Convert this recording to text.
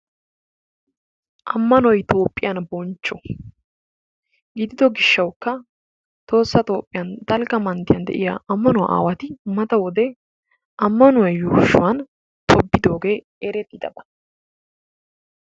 Ammanoy Toophiyaan bonchcho gidido gishshaw Tohossa Toophiyaan dalgga Manttiyan de'iyaa ammano aawati tibiddooge eretidabaa.